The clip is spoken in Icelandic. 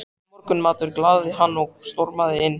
Morgunmatur galaði hann og stormaði inn.